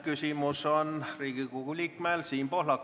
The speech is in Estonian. Küsimus on Riigikogu liikmel Siim Pohlakul.